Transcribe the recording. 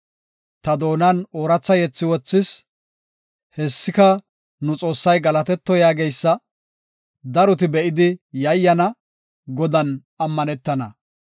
Ta doonan ooratha yethi wothis; hessika nu Xoossay galatetto yaageysa; daroti be7idi yayyana; Godan ammanetana.